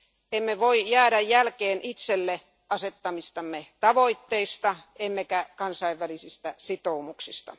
Emme voi jäädä jälkeen itsellemme asettamistamme tavoitteista emmekä kansainvälisistä sitoumuksista.